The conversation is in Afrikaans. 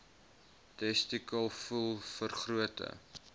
testikel voel vergrote